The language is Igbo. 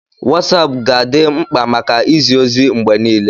Wosapu ga-adị mkpa maka izi ozi mgbe niile.